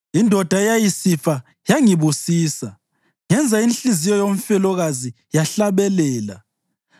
Indoda eyayisifa yangibusisa; ngenza inhliziyo yomfelokazi yahlabelela.